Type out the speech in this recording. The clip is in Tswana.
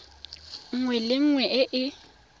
nngwe le nngwe e e